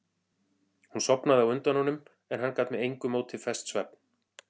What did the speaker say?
Hún sofnaði á undan honum en hann gat með engu móti fest svefn.